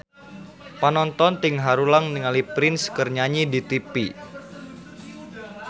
Panonton ting haruleng ningali Prince keur nyanyi di tipi